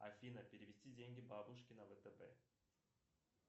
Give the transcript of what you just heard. афина перевести деньги бабушке на втб